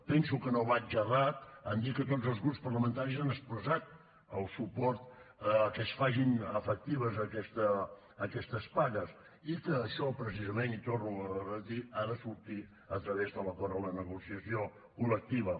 penso que no vaig errat en dir que tots els grups parlamentaris han expressat el suport a que es facin efectives aquestes pagues i que això precisament i ho torno a repetir ha de sortir a través de l’acord en la negociació col·lectiva